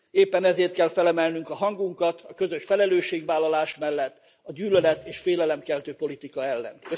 Éppen ezért kell fel emelnünk a hangunkat a közös felelősségvállalás mellett a gyűlölet és félelemkeltő politika ellen.